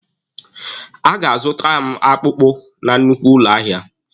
Ọ ga-aga azụtara m akpụkpụ na nnukwu ụlọ ahịa.